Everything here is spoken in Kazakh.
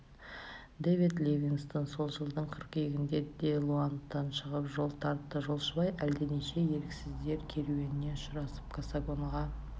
дэвид ливингстон сол жылдың қыркүйегінде де-лоандтан шығып жол тартты жолшыбай әлденеше еріксіздер керуеніне ұшырасып кассангоға